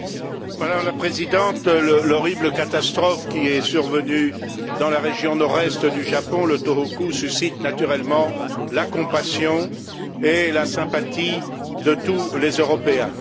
Madame la Présidente, l'horrible catastrophe qui est survenue dans la région nord est du Japon, le Tōhoku, suscite naturellement la compassion et la sympathie de tous les Européens.